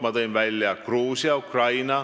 Ma tõin välja Gruusia ja Ukraina.